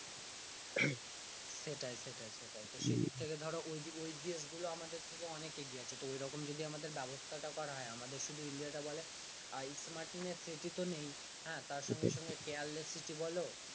সেটাই সেটাই সেটাই তো সেই দিক থেকে ধরো ওই যে ওই দেশগুলো আমাদের থেকে অনেক এগিয়ে আছে তো এরকম যদি আমাদের ব্যবস্থা টা করা হয় আমাদের শুধু ইন্ডিয়াকে বলে smartness city তো নেই তার সঙ্গে সঙ্গে careless city বলো